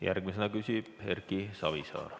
Järgmisena küsib Erki Savisaar.